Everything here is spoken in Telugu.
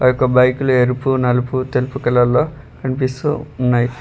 ఆ యొక్క బైకులు ఎరుపు నలుపు తెలుపు కలర్ లో కనిపిస్తూ ఉన్నాయ్.